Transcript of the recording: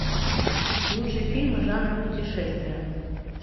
лучшие фильмы жанра путешествия